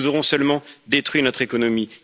nous aurons seulement détruit notre économie.